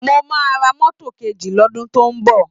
Mo máa ra mọ́tò kejì lọ́dùn tó ń bọ̀